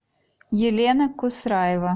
елена кусраева